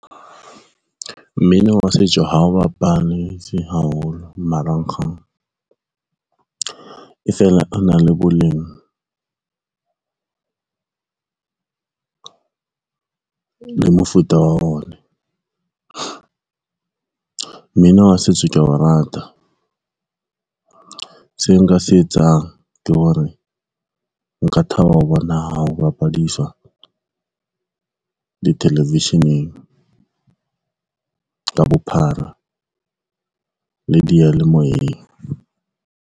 Mmino wa setso ha o bapadiswe haholo marangrang, e feela o na le boleng le mofuta wa ona. Mmino wa setso kea o rata, se nka se etsang ke hore nka thaba ho bona hao bapadiswa di-television-eng ka bophara le diyalemoyeng.